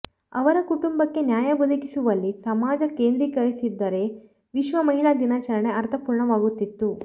ಅವರ ಕುಟುಂಬಕ್ಕೆ ನ್ಯಾಯ ಒದಗಿಸುವಲ್ಲಿ ಸಮಾಜ ಕೇಂದ್ರೀಕರಿಸಿದ್ದರೆ ವಿಶ್ವ ಮಹಿಳಾ ದಿನಾಚರಣೆ ಅರ್ಥಪೂರ್ಣ ವಾಗುತ್ತಿತ್ತು